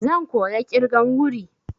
Zan koya ƙirgan wuri.